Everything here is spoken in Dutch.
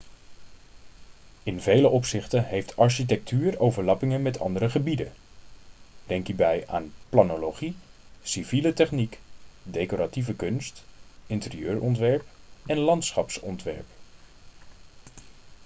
in vele opzichten heeft architectuur overlappingen met andere gebieden denk hierbij aan planologie civiele techniek decoratieve kunst interieurontwerp en landschapsontwerp